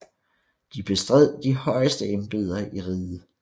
De bestred de højeste embeder i riget